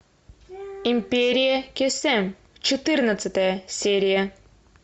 империя кесем четырнадцатая серия